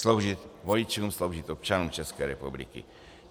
Sloužit voličům, sloužit občanům České republiky.